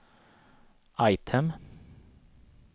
item